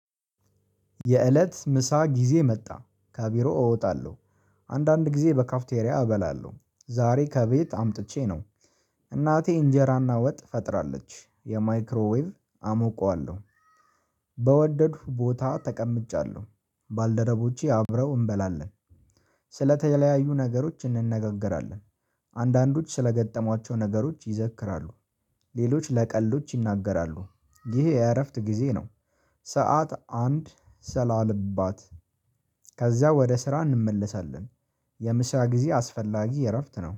የእለት ምሳ ጊዜ መጣ ከቢሮ እወጣለሁ አንዳንድ ጊዜ በካፍቴሪያ እበላለሁ ዛሬ ከቤት አምጥቼ ነው እናቴ እንጀራና ወጥ ፈጥራለች የማይክሮዌቭ አሞቀዋለሁ። በወደድኩ ቦታ ተቀምጫለሁ ባልደረቦቼ አብረው እንበላለን። ስለተለያዩ ነገሮች እንነጋገራለን፤ አንዳንዶች ስለገጠሟቸው ነገሮች ይዘክራሉ፤ ሌሎች ለቀልዶች ይናገራሉ፤ ይሄ የእረፍት ጊዜ ነው። ሰዓት አንድ ሰላልባት ከዛ ወደ ስራ እንመለሳለን። የምሳ ጊዜ አስፈላጊ እረፍት ነው